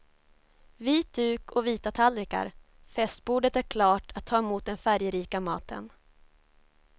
Vit duk och vita tallrikar, festbordet är klart att ta emot den färgrika maten.